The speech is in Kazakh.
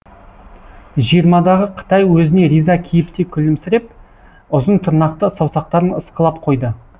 жиырмадағы қытай өзіне риза кейіпте күлімсіреп ұзын тырнақты саусақтарын ысқылап қойды